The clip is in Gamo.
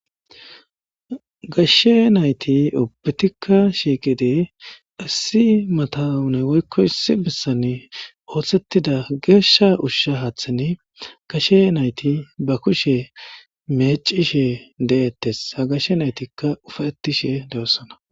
gashshe nayti obutikka shiiqide assi matawunay woykko issi bessan ooththettida geeshsha ushsha haaththen kashe nayti ba kushe meecishe de'ettes ha gashshe naytikka ufaetishe de'oossana